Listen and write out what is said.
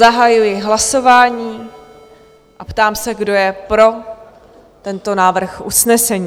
Zahajuji hlasování a ptám se, kdo je pro tento návrh usnesení?